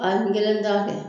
n kelen t'a kɛ.